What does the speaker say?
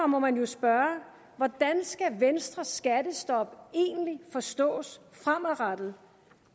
må man jo spørge hvordan skal venstres skattestop egentlig forstås fremadrettet